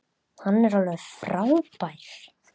Hann er alveg frábær.